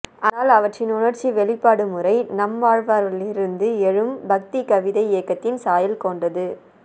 ஆனால் அவற்றின் உணர்ச்சி வெளிப்பாடுமுறை நம்மாழ்வாரிலிருந்து எழும் பக்திக்கவிதை இயக்கத்தின் சாயல் கோண்டது